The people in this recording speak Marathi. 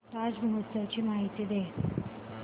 ताज महोत्सव ची माहिती दे